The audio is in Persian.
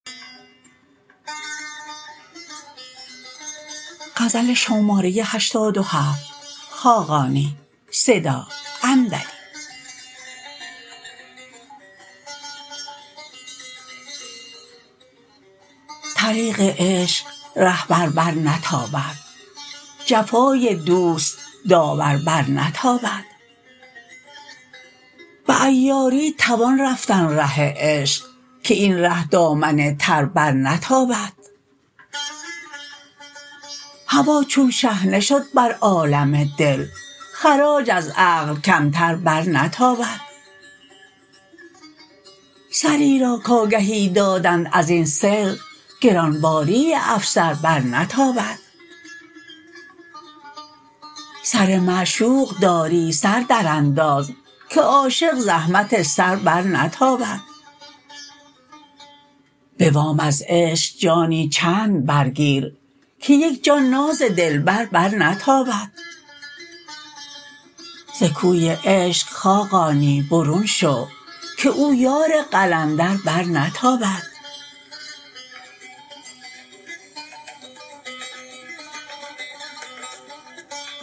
طریق عشق رهبر برنتابد جفای دوست داور برنتابد به عیاری توان رفتن ره عشق که این ره دامن تر برنتابد هوا چون شحنه شد بر عالم دل خراج از عقل کمتر برنتابد سری را کآگهی دادند ازین سر گران باری افسر برنتابد سر معشوق داری سر درانداز که عاشق زحمت سر برنتابد به وام از عشق جانی چند برگیر که یک جان ناز دلبر برنتابد ز کوی عشق خاقانی برون شو که او یار قلندر برنتابد